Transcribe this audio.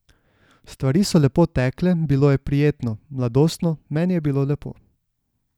Stvari so lepo tekle, bilo je prijetno, mladostno, meni je bilo lepo.